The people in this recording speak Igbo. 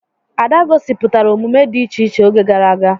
Ada gosipụtara omume dị iche iche oge gara aga.